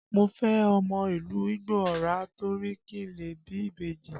Mo fẹ́ ọmọ ìlú Igbó Ọrà torí kí n lè bí ìbejì